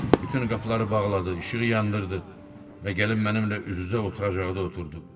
Bütün qapıları bağladı, işığı yandırdı və gəlib mənimlə üz-üzə oturacaqda oturdu.